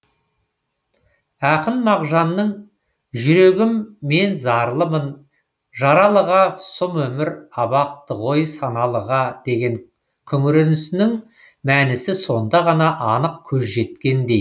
ақын мағжанның жүрегім мен зарлымын жаралыға сұм өмір абақты ғой саналыға деген күңіренісінің мәнісіне сонда ғана анық көз жеткендей